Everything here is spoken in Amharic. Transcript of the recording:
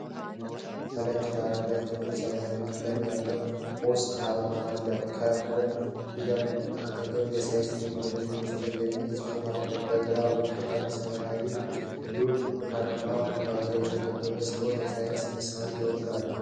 በነጭ ዳራ ላይ ጥቁር ሰማያዊ ቀለም ያለው የ'MOST' አርማ አለ። ከ"ሞ" ፊደላት አጠገብ "የሳይንስና ቴክኖሎጂ ሚኒስቴር" የሚል ጽሑፍ አለ። በግራ በኩል አንድ ሰማያዊ ሉል በብርቱካን ኩርባ የተከበበ ሲሆን የሳይንስን ምሳሌ ይወክላል?